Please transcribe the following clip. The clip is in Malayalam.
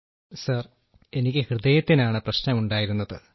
രാജേഷ് പ്രജാപതി സർ എനിക്ക് ഹൃദയത്തിനാണ് പ്രശ്നമുണ്ടായിരുന്നത്